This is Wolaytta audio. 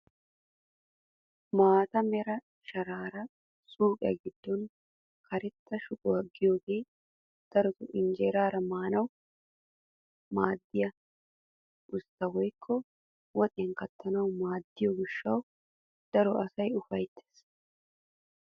Maata mera sharaara suyqiyaa giddon karetta shuquwaa yaagiyoogee darotoo injeraara maanawu maaddiyaa usttaa woykk woxiyaa kattanawu maaddiyoo gishshawu daro asay ufayttees.